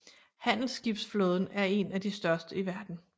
Handelsskibsflåden er en af de største i verden